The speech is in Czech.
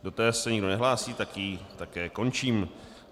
Do té se nikdo nehlásí, tak ji také končím.